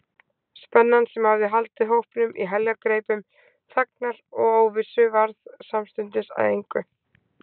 Spennan, sem hafði haldið hópnum í heljargreipum þagnar og óvissu, varð samstundis að engu.